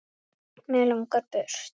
Mig langar burt.